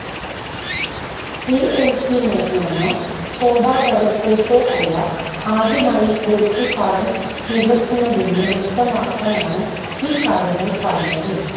PNC മേനോനോ ശോഭഡെവലപ്പേഴ്സോ അല്ല ആദ്യമായി പുഴയ്ക്കല് പാടം നികത്തുന്നതെന്ന് വ്യക്തമാക്കാനാണ് ഈകാര്യങ്ങള് പറഞ്ഞത്